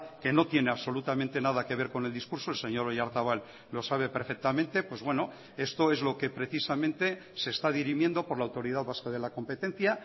que no tiene absolutamente nada que ver con el discurso el señor oyarzabal lo sabe perfectamente pues bueno esto es lo que precisamente se está dirimiendo por la autoridad vasca de la competencia